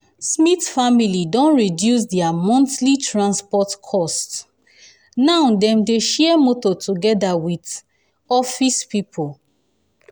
smith family don reduce um dia monthly transport cost um now dem dey share motor togeda with office pipo.